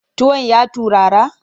Tuwon ya turara?